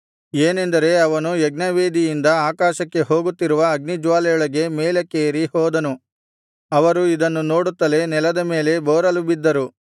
ಏನೆಂದರೆ ಅವನು ಯಜ್ಞವೇದಿಯಿಂದ ಆಕಾಶಕ್ಕೆ ಹೋಗುತ್ತಿರುವ ಅಗ್ನಿಜ್ವಾಲೆಯೊಳಗೆ ಮೇಲಕ್ಕೇರಿ ಹೋದನು ಅವರು ಇದನ್ನು ನೋಡುತ್ತಲೆ ನೆಲದ ಮೇಲೆ ಬೋರಲುಬಿದ್ದರು